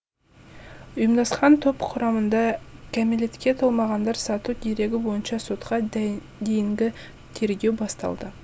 ұйымдасқан топ құрамында кәмелетке толмағандар сату дерегі бойынша сотқа дейінгі тергеу басталды